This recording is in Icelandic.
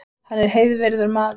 Hann er heiðvirður maður